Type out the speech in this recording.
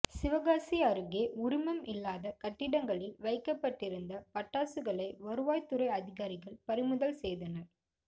சிவகாசி அருகே உரிமம் இல்லாத கட்டிடங்களில் வைக்கப்பட்டிருந்த பட்டாசுகளை வருவாய்துறை அதிகாரிகள் பறிமுதல் செய்தனர்